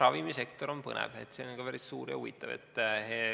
Ravimisektor on põnev, see on ka päris suur ja huvitav.